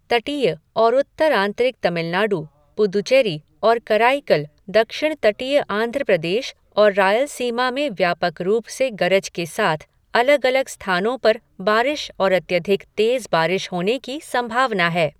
तटीय और उत्तर आंतरिक तमिलनाडु, पुदुचेरी और कराईकल, दक्षिण तटीय आंध्र प्रदेश और रायलसीमा में व्यापक रूप से गरज के साथ अलग अलग स्थानों पर बारिश और अत्यधिक तेज़ बारिश होने की संभावना है।